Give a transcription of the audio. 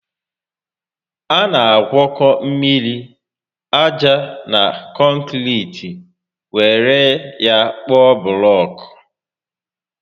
A na agwọkọ mmiri, aja na kọnkiriti were ya kpụọ bụlọọkụ